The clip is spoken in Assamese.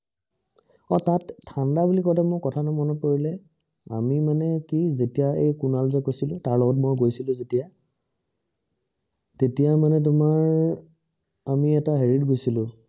অ তাত ঠাণ্ডা বুলি কওঁতে কথা এটা মনত পৰিলে যেতিয়া আমি মানে কি যেতিয়া কুনাল যে গৈছিলে তাৰ লগত মই গৈছিলো যেতিয়া তেতিয়া মানে তোমাৰ আমি এটা এৰি ত গৈছিলো